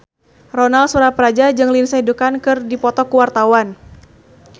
Ronal Surapradja jeung Lindsay Ducan keur dipoto ku wartawan